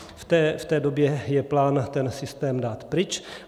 V té době je plán ten systém dát pryč.